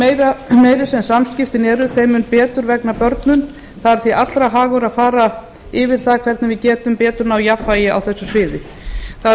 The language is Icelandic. mun meiri sem samskiptin eru þeim mun betur vegnar börnum það er því allra hagur að fara yfir það hvernig við getum betur náð jafnvægi á þessu sviði það er